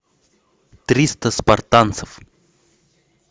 триста спартанцев